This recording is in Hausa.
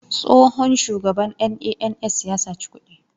Tsohon shugaban NANS ya saci kuɗi.